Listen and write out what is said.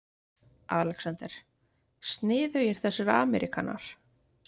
ALEXANDER: Sniðugir þessir ameríkanar.